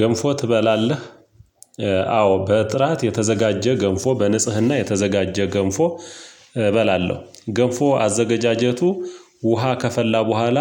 ገንፎ ትበላለህ? አዎ በጥራት የተዘጋጀ ገንፎ፣ በንጽህና የተዘጋጀ ገንፎ፣ እበላለሁ፤ ገንፎ አዘጋጀቱ ውሃ ከፈላ በኋላ